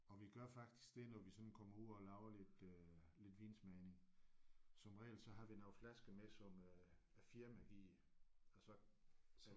Og vi gør faktisk det når vi sådan kommer ud og laver lidt øh lidt vinsmagning som regel så har vi nogle flasker med som øh at firmaet giver og så